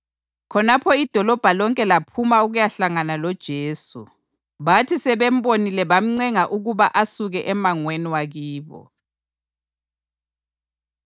Khonapho idolobho lonke laphuma ukuyahlangana loJesu. Bathi sebembonile bamncenga ukuba asuke emangweni wakibo.